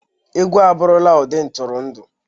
Egwu abụrụla ụdị ntụrụndụ.